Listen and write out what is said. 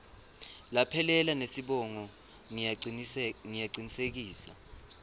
laphelele nesibongo ngiyacinisekisa